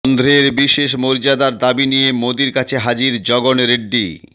অন্ধ্রের বিশেষ মর্যাদার দাবি নিয়ে মোদীর কাছে হাজির জগন রেড্ডি